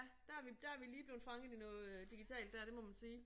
Der er vi der er vi lige blevet fanget i noget digitalt der det må man sige